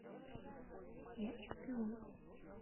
я чемпион